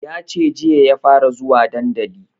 Yace jiya ya fara zuwa dandali